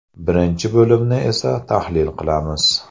Birinchi bo‘limni esa tahlil qilamiz.